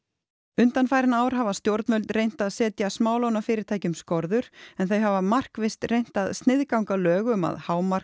undanfarin ár hafa stjórnvöld reynt að setja smálánafyrirtækjum skorður en þau hafa markvisst reynt að sniðganga lög um að